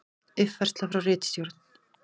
Uppfærsla frá ritstjórn: